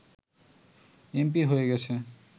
MP হয়ে গেছে